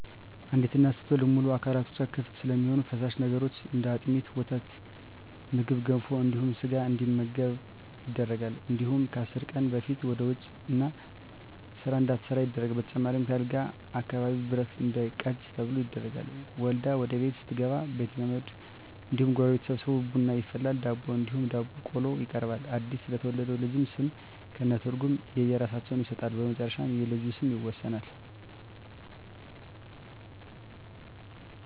አንዲት እናት ስትወልድ ሙሉ አካላቶች ክፍት ስለሚሆኑ ፈሳሽ ነገሮች እንደ አጥሚት: ወተትና ምግብ ገንፎ እንዲሁም ስጋ እንዲመገቡ ይደረጋል እንዲሁም ከአስር ቀን በፊት ወደ ውጭ እና ስራ እንዳትሠራ ይደረጋል በተጨማሪም ከአልጋ አካባቢ ብረት እንዳይቃጁ ተብሎ ይደረጋል። ወልዳ ወደቤት ስትገባ ቤተዘመድ እንዲሁም ጎረቤት ተሠብስቦ ቡና ይፈላል ዳቦ እንዲሁም ዳቦ ቆሎ ይቀርባል አድስ ለተወለደው ልጅ ስም ከእነ ትርጉም የእየራሳቸውን ይሠጣሉ በመጨረሻ የልጁ ስም ይወሰናል።